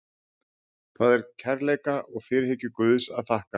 Það er kærleika og fyrirhyggju Guðs að þakka.